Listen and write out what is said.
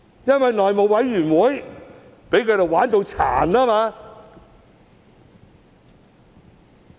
因為內務委員會被他們"玩殘"。